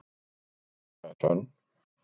Þessi saga er sönn.